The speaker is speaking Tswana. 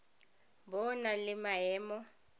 bo o na le maemo